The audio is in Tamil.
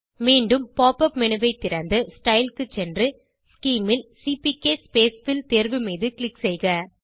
மீண்டும் pop உப் மேனு ஐ திறந்து ஸ்டைல் க்கு சென்று ஸ்கீம் ல் சிபிகே ஸ்பேஸ்ஃபில் தேர்வு மீது க்ளிக் செய்க